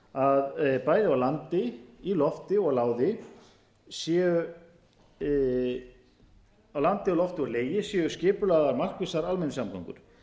að bæði á landi í lofti og legi séu skipulagðar markvissar almenningssamgöngur þær eiga að vera öflugar þær eiga að vera